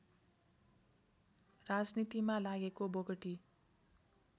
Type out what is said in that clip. राजनीतिमा लागेका बोगटी